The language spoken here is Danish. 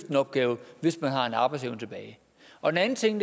en opgave hvis man har arbejdsevne tilbage og den anden ting